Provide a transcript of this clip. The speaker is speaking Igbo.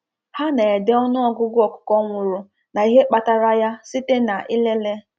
Ha na-ede ọnụ ọgụgụ ọkụkọ nwụrụ na ihe kpatara ya site na ilele